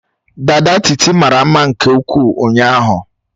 Dada Titi mara mma nke ukwuu ụnyaahụ.